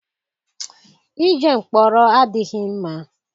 Ije mkpọrọ adịghị mma.